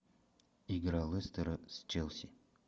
игра лестера с челси